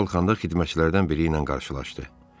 Yuxarı qalxanda xidmətçilərdən biri ilə qarşılaşdı.